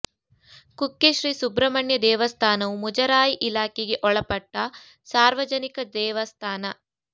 ಕುಕ್ಕೆ ಶ್ರೀ ಸುಬ್ರಹ್ಮಣ್ಯ ದೇವಸ್ಥಾನವು ಮುಜರಾಯಿ ಇಲಾಖೆಗೆ ಒಳಪಟ್ಟ ಸಾರ್ವಜನಿಕ ದೇವಸ್ಥಾನ